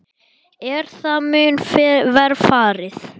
Er það mun verr farið.